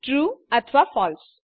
true અથવા ફળસે